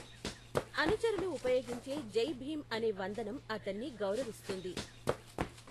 అనుచరులు ఉపయోగించే జై భీమ్ అనే వందనం అతన్ని గౌరవిస్తుంది.